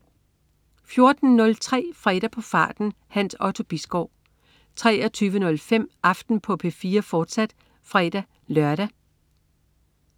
14.03 Fredag på farten. Hans Otto Bisgaard 23.05 Aften på P4, fortsat (fre-lør)